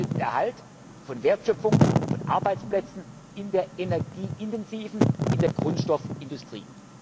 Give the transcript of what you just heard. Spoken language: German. Es geht um den Erhalt von Wertschöpfung, von Arbeitsplätzen in der energieintensiven Industrie, in der Grundstoffindustrie.